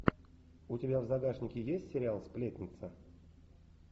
у тебя в загашнике есть сериал сплетница